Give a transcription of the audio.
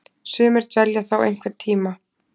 Sumir dvelja þá einhvern tíma.